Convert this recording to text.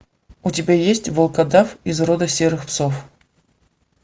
у тебя есть волкодав из рода серых псов